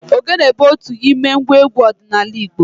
Ogele bụ otu n'ime ngwa egwu ọdịnala Igbo.